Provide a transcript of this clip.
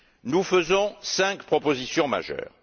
Nous faisons cinq propositions majeures.